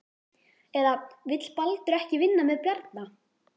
Eða vill Baldur ekki vinna með Bjarna?